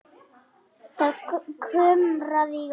Það kumraði í honum.